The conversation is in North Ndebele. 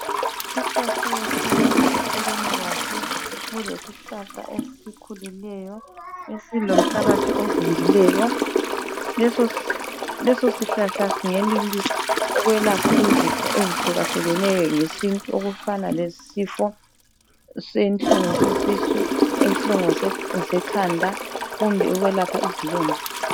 Isakhiwo sendlu eceleni kwaso kulesihlahla esikhulileyo esilomhlabathi ovundileyo, leso sihlahla singenelisa ukwelapha izifo ezihlukahlukeneyo ngesintu okufana lesifo senhlungu sesisu, inhlungu zekhanda, kumbe ukwelapha izilonda.